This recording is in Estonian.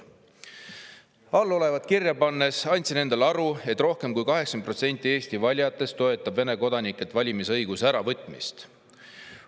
"Allolevat kirja pannes andsin endale aru, et rohkem kui 80 protsenti Eesti valijatest toetab Vene kodanikelt valimisõiguse äravõtmist.